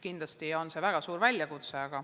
Kindlasti on see väga suur väljakutse.